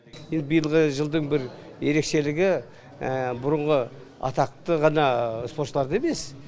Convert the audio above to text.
енді биылғы жылдың бір ерекшелігі бұрынғы атақты ғана спортшыларды емес